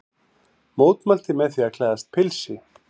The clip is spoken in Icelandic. Mótmælti með því að klæðast pilsi